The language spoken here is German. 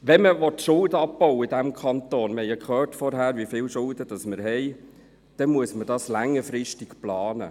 Wenn man in diesem Kanton Schulden abbauen will, und wir haben vorhin ja gehört, wie viele Schulden das sind, dann muss man das längerfristig planen.